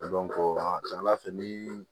a ka ca ala fɛ ni